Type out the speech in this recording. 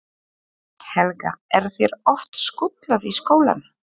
Helga: Er þér oft skutlað í skólann?